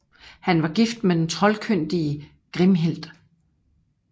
Han var gift med den troldkyndige Grimhild